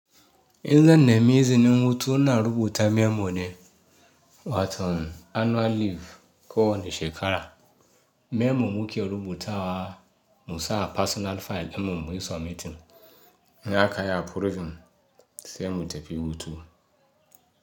In zan nami izinin hutu na rubuta memo ne waton annual leave ko wani shekara. Memo nike rubutawa insa personal file sannan inyi submitting. In akayi min approving sai mu tafi hutu.